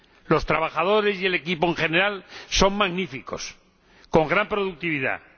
Los trabajadores y el equipo en general son magníficos y la productividad alta.